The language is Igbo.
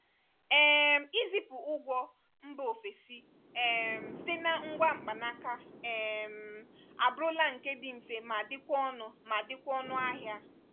um izipụ ụgwọ mba ofesi um site na ngwa mkpanaaka um abụrụla nke dị mfe ma dịkwa ọnụ ma dịkwa ọnụ ahịa.